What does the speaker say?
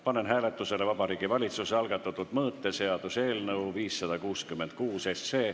Panen hääletusele Vabariigi Valitsuse algatatud mõõteseaduse eelnõu 566.